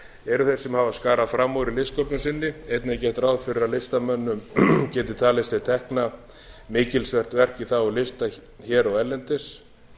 eru þeir sem skarað hafa fram úr í listsköpun sinni einnig er gert ráð fyrir að listamönnum geti talist til tekna mikilsvert verk í þágu lista hér og erlendis